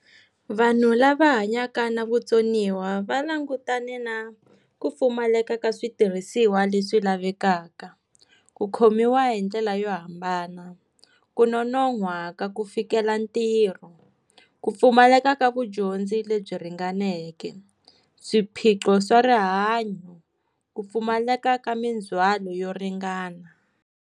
Vanhu lava hanyaka na vutsoniwa va langutane na ku pfumaleka ka switirhisiwa leswi lavekaka, ku khomiwa hindlela yo hambana, ku nonohwa ka ku fikela ntirho, ku pfumaleka ka vudyondzi lebyi ringaneke, swiphiqo swa rihanyo, ku pfumaleka ka mindzwalo yo ringana.